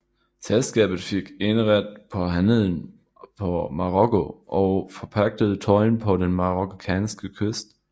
Selskabet fik eneret på handelen på Marokko og forpagtede tolden på den marokkanske kyst